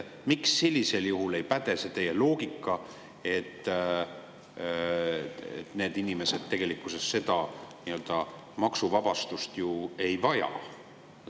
Miks sellisel juhul ei päde teie loogika, et need inimesed tegelikkuses seda maksuvabastust ju ei vaja?